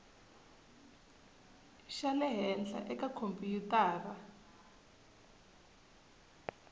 xa le henhla eka khompyutara